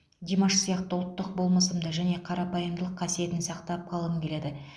димаш сияқты ұлттық болмысымды және қарапайымдылық қасиетін сақтап қалғым келеді